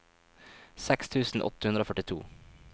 seks tusen åtte hundre og førtito